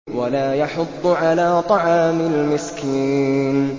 وَلَا يَحُضُّ عَلَىٰ طَعَامِ الْمِسْكِينِ